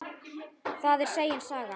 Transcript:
Það er segin saga.